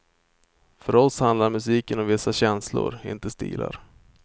För oss handlar musiken om vissa känslor, inte stilar.